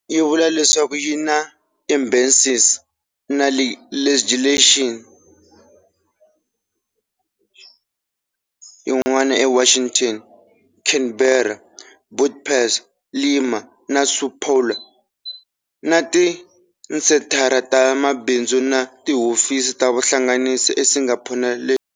Yi vula leswaku yi na embassies na legations yin'wana eWashington, Canberra, Budapest, Lima na São Paulo, na tisenthara ta mabindzu na tihofisi ta vuhlanganisi eSingapore na Lagos.